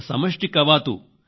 ఒక సమిష్టి కవాతు